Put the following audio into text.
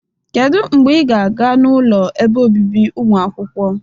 Kedu mgbe ị ga-aga n'ụlọ ebe obibi ụmụakwụkwọ?